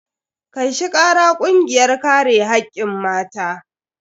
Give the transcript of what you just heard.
Kai shi kara kungiyar kare hakkin mata.